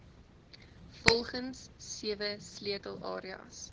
volgens sewe sleutelareas